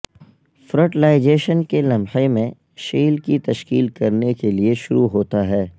fertilisation کے لمحے میں شیل کی تشکیل کرنے کے لئے شروع ہوتا ہے